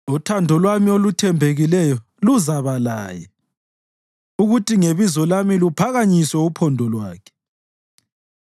Uthando lwami oluthembekileyo luzaba laye, ukuthi ngebizo lami luphakanyiswe uphondo lwakhe.